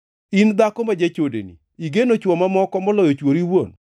“ ‘In dhako ma jachodeni! Igeno chwo mamoko moloyo chwori iwuon!